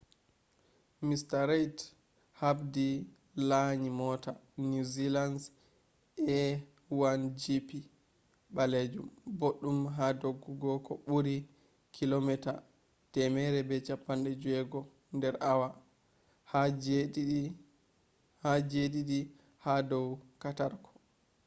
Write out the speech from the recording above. mr reid habdi laanyi moota new zealand’s a1gp balajum boddum haa doggugo ko buurii 160km/h de jediidi ha dow katarko